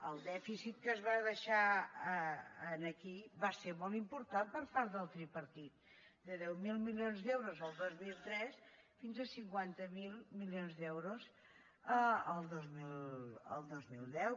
el dèficit que es va deixar aquí va ser molt important per part del tripartit de deu mil milions d’euros el dos mil tres fins a cinquanta miler milions d’euros el dos mil deu